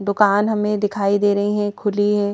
दुकान हमें दिखाई दे रही है खुली है।